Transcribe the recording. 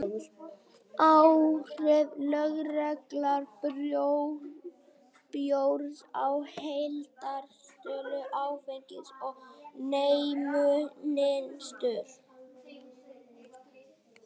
Áhrif lögleiðingar bjórs á heildarsölu áfengis og neyslumynstur